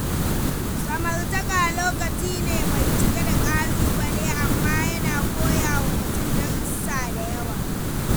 Samartaka lokaci ne mai cike da ƙalubale, amma yana koya wa mutum darussa da yawa.